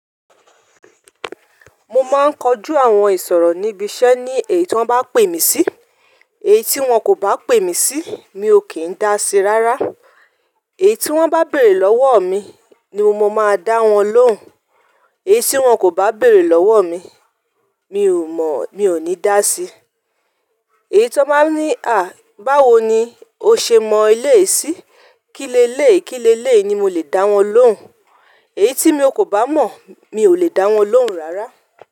Mo máa ń kojú àwọn ìsọ̀rọ̀ níbi iṣẹ́ ní èyí tí wọ́n bá pè mí sí. Èyí tí wọ́n kò bá pè mí sí, mi ò kí ń dá sí rárá. Èyí tí wọ́n bá béèrè lọ́wọ́ mi ni mo máa dá wọn lóhùn. Èyí tí wọ́n kò bá béèrè lọ́wọ́ mi, mi ò ní dá sí. Èyí tí wọ́n bá ní "àh báwo ni o ṣe mọ eleyìí sí?" Kílé lé, kílé lé ni mo lè dá wọn lóhùn. Èyí tí mi kò bá mọ̀, mi ò lè dá wọn lóhùn rárá.